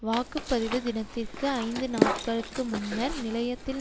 வாக்கு பதிவு தினத்திற்கு ஐந்துநாட்களுக்கு முன்னர் நிலையத்தில்